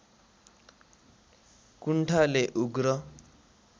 कुण्ठाले उग्र